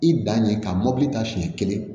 I dan ye ka mɔbili ta siɲɛ kelen